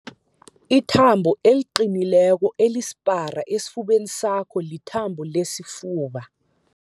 Ithambo eliqinileko elisipara esifubeni sakho lithambo lesifuba.